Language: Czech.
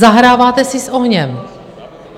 Zahráváte si s ohněm.